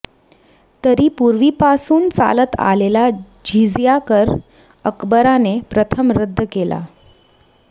तरी पूर्वीपासून चालत आलेला जिझिया कर अकबराने प्रथम रद्द केला